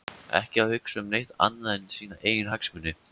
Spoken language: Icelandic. Ekki að hugsa um neitt annað en sína eigin hagsmuni!